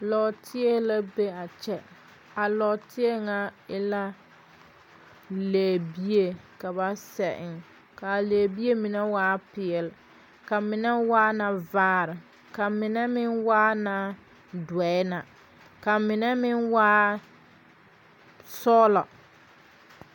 Lɔɔteɛ la be a kyɛ. Lɛbie la ka ba de sɛ eŋ a lɔɔteɛ pʋɔ ka lɛbie mine waa peɛle, ka a mine waa vaare kyɛ ka a mine waa dɔre. A mine meŋ waa la sɔglɔ.